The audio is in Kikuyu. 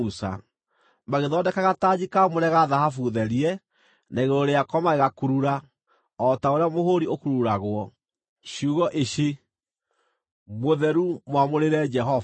Magĩthondeka gatanji kaamũre ga thahabu therie, na igũrũ rĩako magĩkurura, o ta ũrĩa mũhũũri ũkururagwo, ciugo ici: MŨTHERU MWAMŨRĨRE JEHOVA.